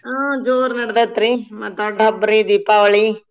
ಹಾ ಜೋರ್ ನಡ್ದೇತ್ರಿ ಮಾತ ರೀ ದೀಪಾವಳಿ.